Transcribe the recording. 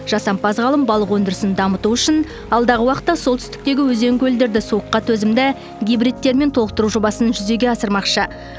жасампаз ғалым балық өндірісін дамыту үшін алдағы уақытта солтүстіктегі өзен көлдерді суыққа төзімді гибридтермен толықтыру жобасын жүзеге асырмақшы